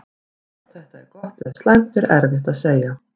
Hvort þetta er gott eða slæmt er erfitt að segja.